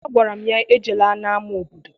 Agwara m ya ejela n'ama obodo!